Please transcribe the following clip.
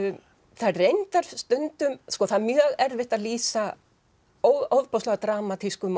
það er reyndar stundum það er mjög erfitt að lýsa ofboðslega dramatískum og